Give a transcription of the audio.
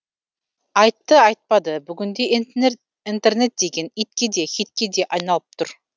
айтты айтпады бүгінде интернет деген итке де хитке де айналып тұр